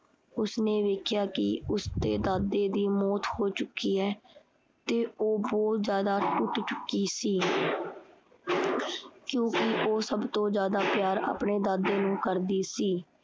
ਉਸਨੇ ਵੇਖਿਆ ਕੀ ਉਸਦੇ ਦਾਦੇ ਦੀ ਮੋਚ ਹੋ ਚੁੱਕੀ ਹੈ ਤੇ ਉਹ ਬਹੁਤ ਜ਼ਿਆਦਾ ਟੁੱਟ ਚੁੱਕੀ ਸੀ ਕਿਉਂਕਿ ਉਹ ਸਭ ਤੋਂ ਜ਼ਿਆਦਾ ਪਿਆਰ ਆਪਣੇ ਦਾਦੇ ਨੂੰ ਕਰਦੀ ਸੀ।